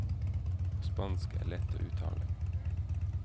Og spansk er lett å uttale.